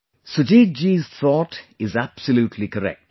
Sujit ji's thought is absolutely correct